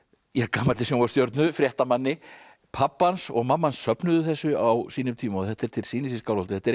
gamalli fréttamanni pabbi hans og mamma hans söfnuðu þessu á sínum tíma og þetta er til sýnis í Skálholti þetta